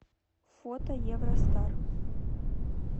фото евростар